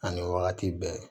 Ani wagati bɛɛ